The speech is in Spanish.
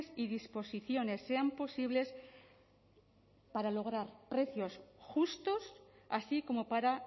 y disposiciones sean posibles para lograr precios justos así como para